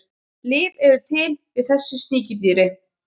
Lyf eru til við þessu sníkjudýri.